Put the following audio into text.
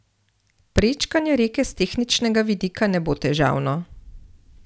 Prečkanje reke s tehničnega vidika ne bo težavno.